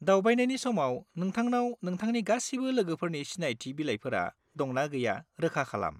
दावबायनायनि समाव नोंथांनाव नोंथांनि गासिबो लोगोफोरनि सिनायथि बिलाइफोरा दंना गैया रोखा खालाम।